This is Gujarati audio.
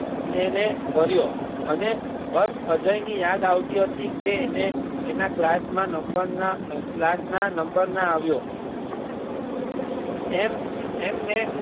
એને ભર્યો અને બસ અજય ની યાદ આવતી હતી કે એને એના class માં નંબર ના class ના નંબર ના આવ્યો એમ એમને